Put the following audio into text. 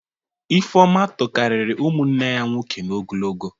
Ifeọma tokarịrị ụmụnne ya nwoke n'ogologo